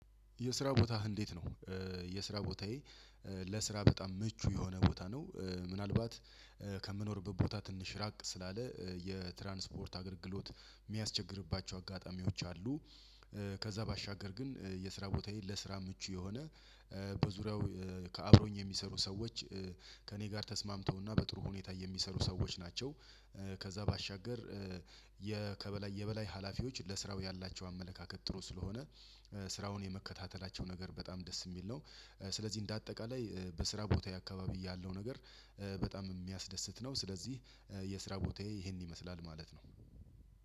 የስራ ቦታህ እንዴት ነው? የስራ ቦታዬ ለስራ በጣም ምቹ የሆነ ቦታ ነው። ምናልባት ከምኖርበት ቦታ ትንሽ ራቅ ስላለ የትራንስፖርት አገልግሎት የሚያስቸግርባቸው አጋጣሚዎች አሉ። ከዛ ባሻገር ግን የስራ ቦታዬን ለስራ ምቹ የሆነ በዙሪያው ከአብሮኝ የሚሰሩ ሰዎች ከእኔ ጋር ተስማምተውና በጥሩ ሁኔታ የሚሰሩ ሰዎች ናቸው። ከዛ ባሻገር የከበላይ የበላይ ሀላፊዎች ለስራው ያላቸው አመለካከት ጥሩ ስለሆነ ስራውን የመከታተላቸው ነገር በጣም ደስ የሚል ነው። ስለዚህ እንደ አጠቃላይ በስራ ቦታዬ አካባቢ ያለው ነገር በጣም የሚያስደስት ነው። ስለዚህ የስራ ቦታዬ ይሄን ይመስላል ማለት ነው።